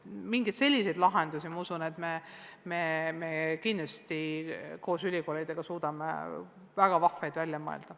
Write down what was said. Ma usun, et me suudame koos ülikoolidega kindlasti väga vahvaid lahendusi välja mõelda.